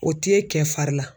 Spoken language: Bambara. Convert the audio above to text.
O t'e kɛ fari la.